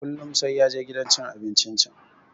Kullum sai ya je gidan cin abincin can.